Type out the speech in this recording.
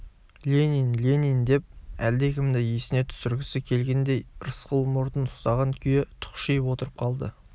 ленин ленин деп әлдекімді есіне түсіргісі келгендей рысқұл мұртын ұстаған күйі тұқшиып отырып қалды